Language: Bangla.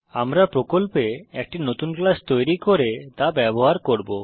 আমরা প্রকল্পে একটি নতুন ক্লাস তৈরী করে তা ব্যবহার করব